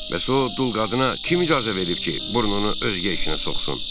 Bəs o dul qadına kim icazə verib ki, burnunu özgə işinə soxsun?